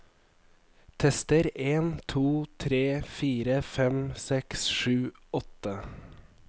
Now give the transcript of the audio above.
Tester en to tre fire fem seks sju åtte